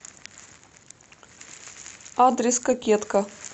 адрес кокетка